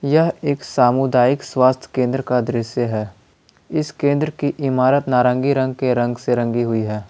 एक सामुदायिक स्वास्थ्य केंद्र का दृश्य है इस केंद्र की इमारत नारंगी रंग के रंग से रंगी हुई है।